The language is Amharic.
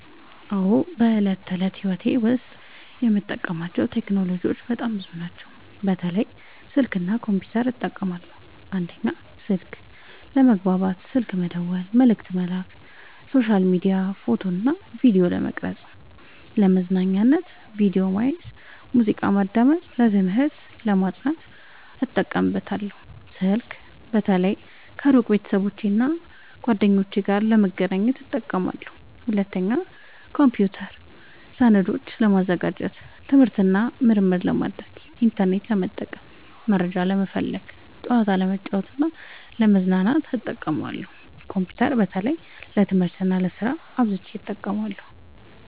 አዎ፣ በዕለት ተዕለት ሕይወቴ ዉስጥ የምጠቀምባቸው ቴክኖሎጂዎች በጣም ብዙ ናቸው፣ በተለይ ስልክ እና ኮምፒውተር እጠቀማለሁ። 1. ስልክ፦ ለመግባባት (ስልክ መደወል፣ መልዕክት መላክ)፣ሶሻል ሚዲያ፣ ፎቶ እና ቪዲዮ ለመቅረጵ፣ ፣ለመዝናኛነት(ቪዲዮ ማየት፣ ሙዚቃ ማዳመጥ)፣ ለትምህርት(ለማጥናት) እጠቀምበታለሁ። ስልክ በተለይ ከሩቅ ቤተሰቦቼና እና ጓደኞቼ ጋር ለመገናኘት እጠቀምበታለሁ። 2. ኮምፒውተር፦ ሰነዶችን ለማዘጋጀት፣ ትምህርት እና ምርምር ለማድረግ፣ ኢንተርኔት ለመጠቀም (መረጃ ለመፈለግ)፣ ጨዋታ ለመጫወት እና ለመዝናኛነት እጠቀምበታለሁ። ኮምፒውተር በተለይ ለትምህርት እና ለስራ አብዝቸ እጠቀማለሁ።